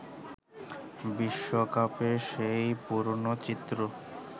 বিশ্বকাপে সেই পুরনো চিত্র